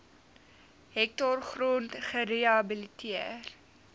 hektaar grond gerehabiliteer